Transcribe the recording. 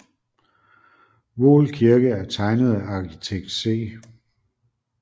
Voel Kirke er tegnet af arkitekt C